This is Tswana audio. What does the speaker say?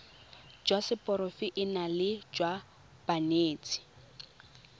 jwa seporofe enale jwa banetshi